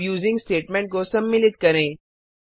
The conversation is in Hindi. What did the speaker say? अब यूजिंग स्टेटमेंट को सम्मिलित करें